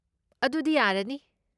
ꯑꯗꯨꯗꯤ ꯌꯥꯔꯅꯤ꯫